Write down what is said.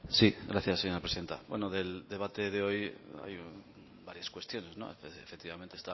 sí gracias señora presidenta bueno del debate de hoy hay varias cuestiones efectivamente